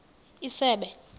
isebe